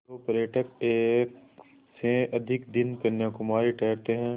जो पर्यटक एक से अधिक दिन कन्याकुमारी ठहरते हैं